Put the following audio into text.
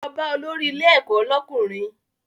Lọ bá olórí ilé ẹ̀kọ́ lọ́kùnrin!